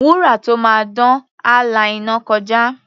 Wúrà tó máa dán, á la iná kọjá.